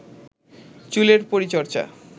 চুলের পরিচর্চা